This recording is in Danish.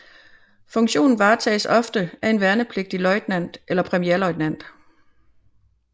Funktionen varetages ofte af en værnepligtig løjtnant eller premierløjtnant